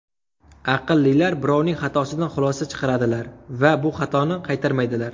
Aqllilar birovning xatosidan xulosa chiqaradilar va bu xatoni qaytarmaydilar.